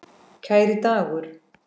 Kæri Dagur.